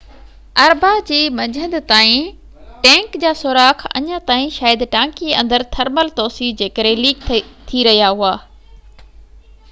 اربع جي منجهند تائين ٽينڪ جا سوراخ اڃا تائين شايد ٽانڪي اندر تھرمل توسيع جي ڪري ليڪ ٿي رهيا هئا